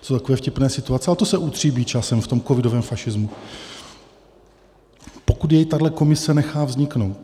To jsou takové vtipné situace, ale to se utříbí časem v tom covidovém fašismu, pokud jej tato komise nechá vzniknout.